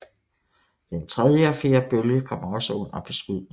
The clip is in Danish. Den tredje og fjerde bølge kom også under beskydning